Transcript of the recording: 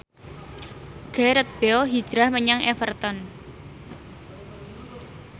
Gareth Bale hijrah menyang Everton